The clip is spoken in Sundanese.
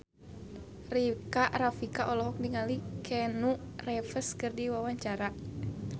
Rika Rafika olohok ningali Keanu Reeves keur diwawancara